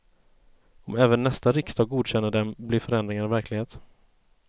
Om även nästa riksdag godkänner dem, blir förändringarna verklighet.